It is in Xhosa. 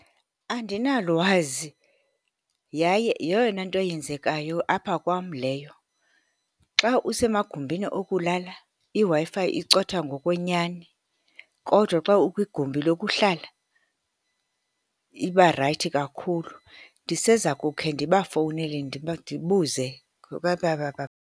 Andinalwazi, yaye yeyona nto yenzekayo apha kwam leyo. Xa usemagumbini okulala, iWi-Fi icotha ngokwenyani, kodwa xa ukwigumbi lokuhlala, iba rayithi kakhulu. Ndiseza kukhe ndabafowunele ndibuze ngoba .